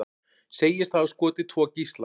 Segist hafa skotið tvo gísla